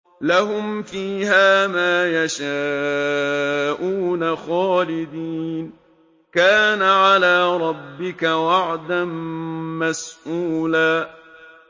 لَّهُمْ فِيهَا مَا يَشَاءُونَ خَالِدِينَ ۚ كَانَ عَلَىٰ رَبِّكَ وَعْدًا مَّسْئُولًا